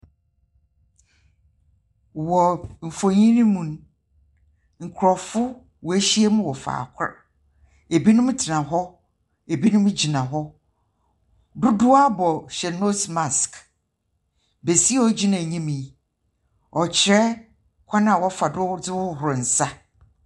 Wɔ mfonyi no mu no, nkrɔfo wɔahyiam wɔ faakor. Ebinom tena hɔ. Ebinom gyina hɔ. Dodow ara wɔhyɛ nose marsk. Besia a ogyna enyim yi, ɔkyerɛ kwan a wɔfa do wɔdze hohor nsa.